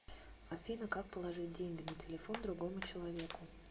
афина как положить деньги на телефон другому человеку